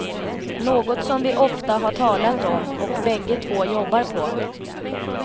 Något som vi ofta har talat om och bägge två jobbar på.